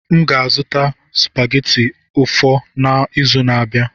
M ga-azụta supageti ụfọ n'izu na-abịa.